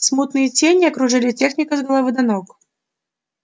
смутные тени окружили техника с головы до ног